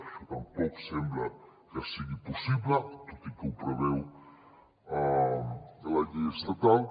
això tampoc sembla que sigui possible tot i que ho preveu la llei estatal